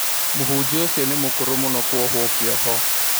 Mũhunjia ũcio nĩ mũkũrũ mũno kũohwo kĩoho